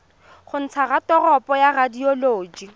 go ntsha raporoto ya radioloji